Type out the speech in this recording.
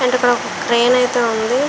ఇక్కడ ఒక క్రేన్ అయితే ఉంది.